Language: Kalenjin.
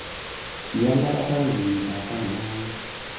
Kialapat akoi kenyitab taman ak angwan